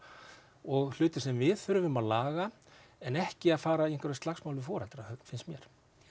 og hlutir sem við þurfum að laga en ekki að fara í einhver slagsmál við foreldra Finns mér